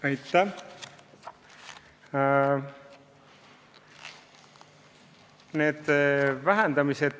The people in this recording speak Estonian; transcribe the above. Aitäh!